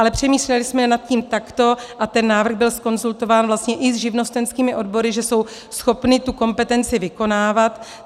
Ale přemýšleli jsme nad tím takto a ten návrh byl zkonzultován vlastně i s živnostenskými odbory, že jsou schopny tu kompetenci vykonávat.